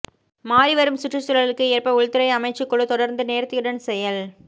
மாறிவரும் சுற்றுச்சூழலுக்கு ஏற்ப உள்துறை அமைச்சுக் குழு தொடர்ந்து நேர்த்தியுடன் செயல்